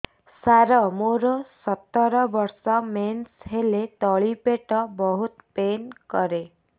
ସାର ମୋର ସତର ବର୍ଷ ମେନ୍ସେସ ହେଲେ ତଳି ପେଟ ବହୁତ ପେନ୍ କରେ